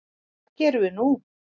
Hvað gerum við nú